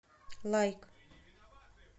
лайк